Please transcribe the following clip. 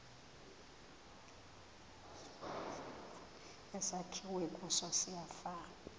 esakhiwe kuso siyafana